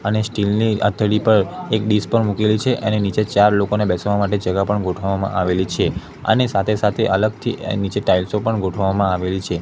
અને સ્ટીલ ની આથેલી પર એક ડિશ પણ મૂકેલી છે એની નીચે ચાર લોકોને બેસવા માટે જગા પણ ગોઠવવામાં આવેલી છે અને સાથે સાથે અલગથી નીચે ટાઇલ્સો પણ ગોઠવવામાં આવેલી છે.